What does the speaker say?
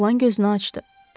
Oğlan gözünü açdı.